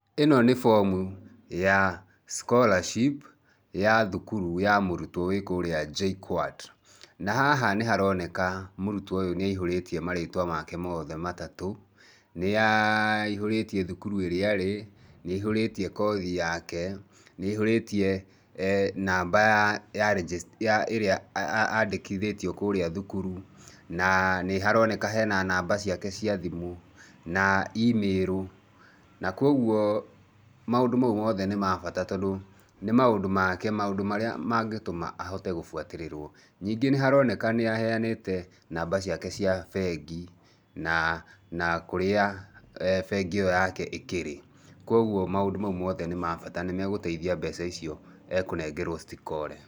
Ĩno nĩ fomu ya scholarship ya thukuru ya mũrutwo wĩ kũrĩa JKUAT , na haha nĩharoneka mũrutwo ũyũ nĩ aihũrĩtie maritwa make mothe matatũ, nĩ aa aihũrĩtie thukuru ĩrĩ arĩ, nĩ aihũrĩtie kothi yake, nĩ aihũrĩtie ee namba ya rĩnjĩ, namba ĩrĩa andĩkithĩtio kũrĩa thukuru na nĩ haroneka hena namba ciake cia thimũ na imĩrũ na kwoguo maũndũ mau mothe nĩ mabata tondũ nĩ maũndũ make, maũndũ marĩa mangĩtũma ahote gũbuatĩrĩrwo, ningĩ nĩ haroneka nĩaheanĩte namba ciake cia bengi na na kũrĩa ee bengi ĩyo yake ĩkĩrĩ, kwoguo maũndũ mau mothe nĩ mabata nĩmagũteithia mbeca icio ekũnengerwo citikore.